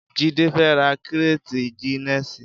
Jide fè rà kréti gìnèsí